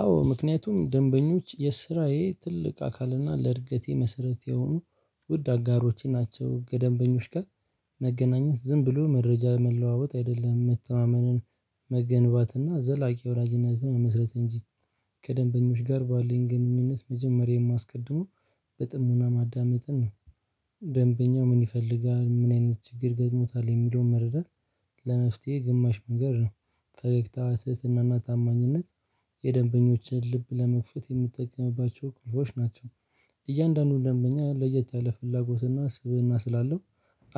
አዎ ምክንያቱም ደንበኞች የስራዬ ትልቅ አካልና ለእድገቴ መሰረት የሆኑ ውድ አጋሮቼ ናቸው። ከደበኞች ጋር መገናኘት ዝም ብሎ መረጃ መለዋወጥ አይደለም መተማመንን መገንባትና ዘላቂ ወዳጅነትን መመስረት እንጂ። ከደንበኞች ጋር ባለን ግንኙነት መጀመሪያ የማስቀድመው በጥሞና ማዳመጥን ነው። ደንበኛው ምን ይፈልጋል ምን አይነት ችግር ገጥሞታል የሚለውን መረዳት። ለመፍትሄ ግማሽ መንገድ ነው ፈገግታ ትህትና እና ታማኝነት የደንበኞችን ልብ ለመክፈት የምትጠቀምባቸው ቁልፎች ናቸው። እያንዳንዱን ደንበኛ ለየት ያለ ፍላጎትና ስብእና ስላለው